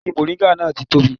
Igi mọ̀ríngà náà ti tóbi